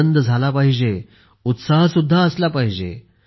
आनंद झाला पाहिजे उत्साह सुद्धा असला पाहिजे